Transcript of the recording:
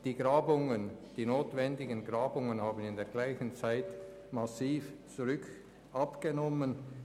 Die notwendigen Grabungen haben im selben Zeitraum massiv abgenommen.